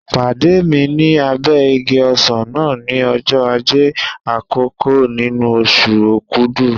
Pàdé mi ní abẹ́ igi ọsàn náà ní ọjọ́ Ajé àkọ́kọ́ nínú oṣù Okúdù.